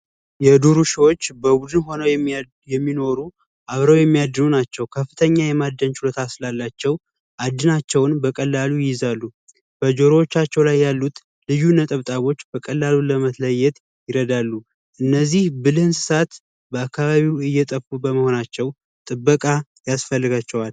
የዱር ውሾች በቡድን ሁነው የሚኖሩ ፣አብረው የሚያድሩ ናቸው። ከፍተኛ የማደን ችሎት ስላላቸው አደናቸውን በቀላሉ ይይዛሉ። በጆሮዎቻቸው ላይ ያሉት ልዩ ነጠብጣቦች በቀላሉ ለመለየት ይረዳሉ። እነዚህ ብልህ እንስሳት በአካባቢው እየጠፉ በመሆናቸው ጥበቃ ያስፈልጋቸዋል።